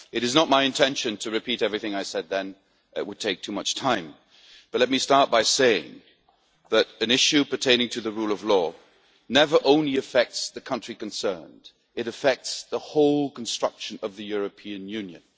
It is not my intention to repeat everything I said then, it would take too much time, but let me start by saying that an issue pertaining to the rule of law never affects only the country concerned it affects the whole construction of the European Union.